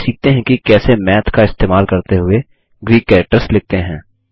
चलिए सीखते हैं की कैसे मैथ का इस्तेमाल करते हुए ग्रीक कैरेक्टर्स लिखते हैं